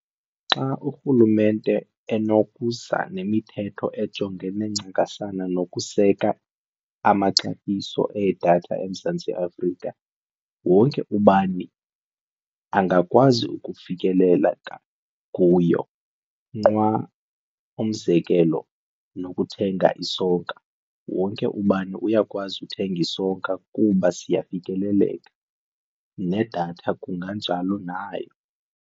Xa urhulumente enokuza nemithetho ejongene ncakasana nokuseka amaxabiso edatha eMzantsi Afrika, wonke ubani angakwazi ukufikelela kuyo nqwa umzekelo nokuthenga isonka wonke ubani uyakwazi uthenga isonka kuba siyafikeleleka nedatha kunganjalo nayo.